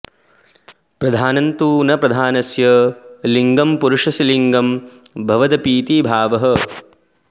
प्रधानं तु न प्रधानस्य लिङ्गं पुरुषस्य लिङ्गं भवदपीति भावः